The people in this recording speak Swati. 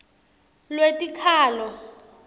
lwetikhalo